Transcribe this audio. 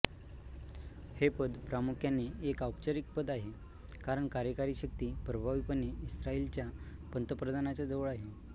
हे पद प्रामुख्याने एक औपचारिक पद आहे कारण कार्यकारी शक्ती प्रभावीपणे इस्रायलच्या पंतप्रधानांच्या जवळ आहे